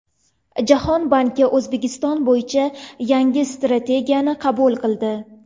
Jahon banki O‘zbekiston bo‘yicha yangi strategiyani qabul qildi.